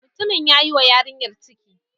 Mutumin ya yi wa yarinyar ciki.